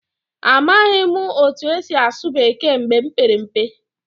Amaghị m otú e si asụ Bekee mgbe m pere mpe.